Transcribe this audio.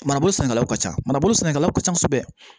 Manabo sɛnɛkɛlaw ka ca manabolo sɛnɛkɛlaw ka ca kosɛbɛ